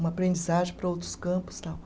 Uma aprendizagem para outros campos, tal